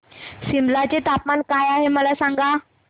सिमला चे तापमान काय आहे मला सांगा